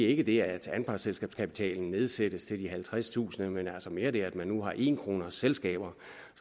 ikke det at anpartsselskabskapitalen nedsættes til halvtredstusind kr men altså mere det at man nu har en kronesselskaber